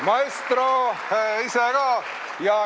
Maestro ise ka.